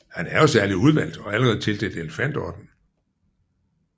Han er jo særlig udvalgt og allerede tildelt elefantordenen